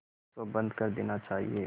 इसको बंद कर देना चाहिए